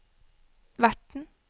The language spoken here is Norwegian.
verten